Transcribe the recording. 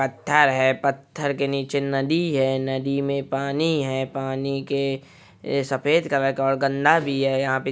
पथर है पथर के नीचे नदी है नदी मे पानी है पानी के सफेद कलर का है और गनदा भी है।